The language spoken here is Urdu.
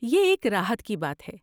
یہ ایک راحت کی بات ہے۔